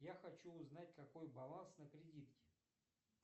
я хочу узнать какой баланс на кредитке